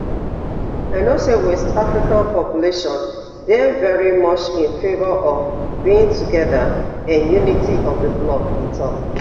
i know say west african population dey very much in favour of being togeda and unity of di bloc e tok